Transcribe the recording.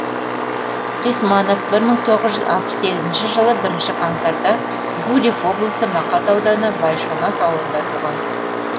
қисманов бір мың тоғыз жүз алпыс сегізінші жылы бірінші қаңтарда гурьев облысы мақат ауданы байшонас ауылында туған